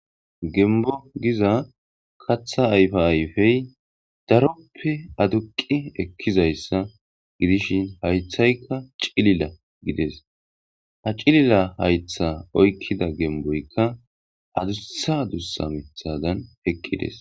gembo giza katha ayfe ayfey daroppe aduqi ekkizayssa gidishin haythayka cilila gides ha cilila haytha oykkida gemboykka adussa adussa mithadan heqqides